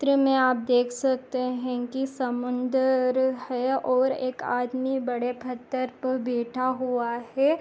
चित्र मे आप देख सकते हे की एक समुंदर है और एक आदमी बड़े पत्थर पर बैठा हुआ है।